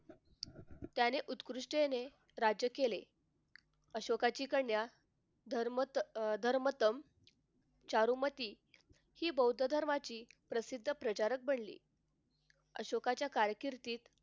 त्याने उत्कृष्टतेने राज्य केले अशोकाची कन्या धर्मत अह धर्मतन चारुमती हि बौद्ध धर्माची प्रसिद्ध प्रजारक बनली अशोकाच्या कारकीर्दीत